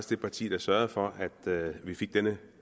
det parti der sørgede for at vi fik denne